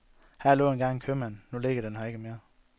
Her lå engang en købmand, nu ligger den her ikke mere.